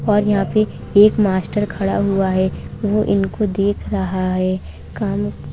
और यहाँ पे एक मास्टर खड़ा हुआ है वो इनको देख रहा है। काम --